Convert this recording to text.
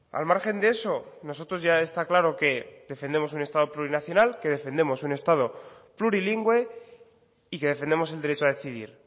al margen de eso nosotros ya está claro que defendemos un estado plurinacional que defendemos un estado plurilingüe y que defendemos el derecho a decidir